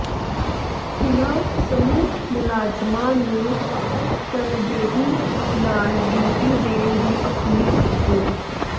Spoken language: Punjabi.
ਉਨ੍ਹਾਂ ਸਮੂਹ ਮੁਲਾਜ਼ਮਾਂ ਨੂੰ ਤਨਦੇਹੀ ਨਾਲ ਡਿਊਟੀ ਦੇਣ ਦੀ ਅਪੀਲ ਕੀਤੀ